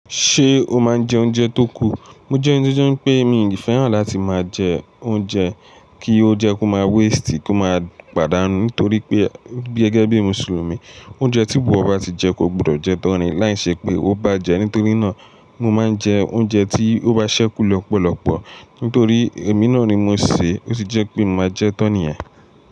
Ṣé o máa ń jẹ oúnjẹ tó kù? Mo jẹ́ ẹni to je pé mi ò ní fẹ́ràn láti máa jẹ oúnjẹ kí ó jẹ́ kó má waste kó má pàdánù nítorí pé gẹ́gẹ́ bí Mùsùlùmí, oúnjẹ tí gbogbo ọba ti jẹ kó gbodọ̀ jẹ tan láìṣẹ́ pé ó bá jẹ. Nítorí náà mo máa ń jẹ oúnjẹ tí ó bá ṣẹ́kù lọ́pọ̀lọpọ̀ nítorí èmi náà ni mosè ó sì jẹ́ pé mo máa jẹ tan niyẹ̀n.